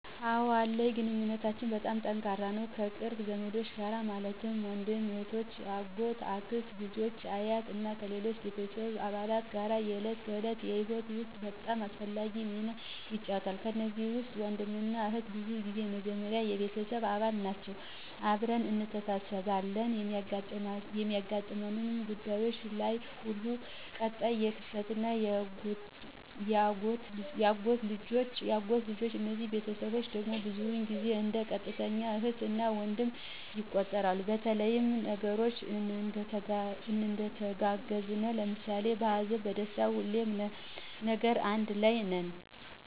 አወ አለኝ ግንኙነታችን በጣም ጠንካራ ነው ከቅርብ ዘመዶች ጋር ማለትም ወንድምና እህቶች፣ የአጎት፣ የአክስት ልጆች አ፣ አያቶች እና ከሌሎች ቤተሰብ አባላት ጋር የዕለት ከዕለት ህይወት ውስጥ በጣም አስፈላጊ ሚና ይጫወታሉ። ከነዚህ ውስጥ ወንድምና እህት ብዙ ጊዜ የመጀመሪያ የቤተሰብ አባል ናቸወ አብረን እንተሳስብ አለን በሚያጋጥሙን ጉዳዩች ለይ ሁሉ። ቀጣይ የአክስትና የአጎት ልጆች እነዚህ ቤተስቦቸ ድግም ብዙውን ጊዜው እንደ ቀጥተኛ እህት እና ወንድም ይቆጠራሉ በተለያዩ ነገሮች እንተጋገዛለን ለምሳሌ በሀዘንና በደስታ ሁሌም ነገር አንድ ለይ ነን።